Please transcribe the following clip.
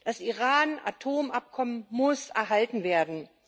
Das Iran Atomabkommen muss erhalten werden.